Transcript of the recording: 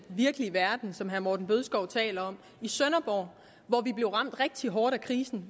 virkelige verden som herre morten bødskov taler om i sønderborg hvor vi blev ramt rigtig hårdt af krisen